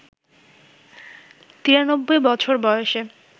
৯৩ বছর বয়সে